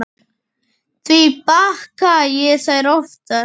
Því baka ég þær oftast.